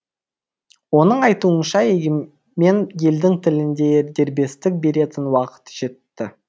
оның айтуынша егемен елдің тілінде дербестік беретін уақыт жетті